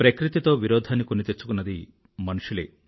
ప్రకృతితో విరోధాన్ని కొని తెచ్చుకున్నది మనుషులే